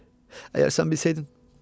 İlahi, əgər sən bilsəydin.